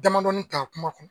Damadɔnin ta kuma